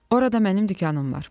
Orada mənim dükanım var.